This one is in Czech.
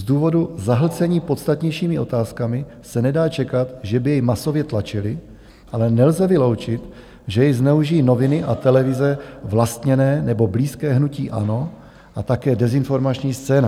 Z důvodu zahlcení podstatnějšími otázkami se nedá čekat, že by jej masově tlačily, ale nelze vyloučit, že jej zneužijí noviny a televize vlastněné nebo blízké hnutí ANO a také dezinformační scéna."